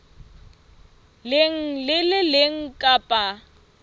leng le le leng kapa